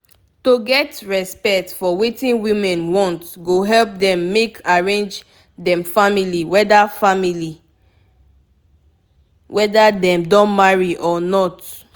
if we take d way women dem take born matter important e important e go help dem um pick beta tins for health matter